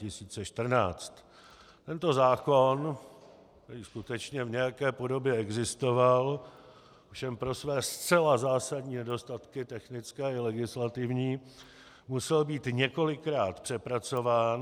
Tento zákon, který skutečně v nějaké podobě existoval, ovšem pro své zcela zásadní nedostatky technické i legislativní musel být několikrát přepracován.